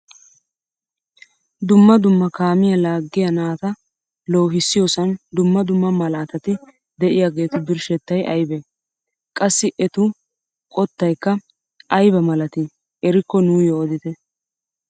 Dumma dumma kaamiyaa laaggiyaa naata loohissiyoosan dumma dumma malaatati de'iyaagetu birshshettay aybee? qassi etu qottaykka aybaa malatii erikko nuyoo odite?